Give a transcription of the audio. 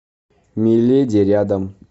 миледи рядом